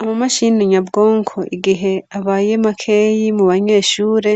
Amamashini nyabwonko igihe abaye makeyi mu banyeshure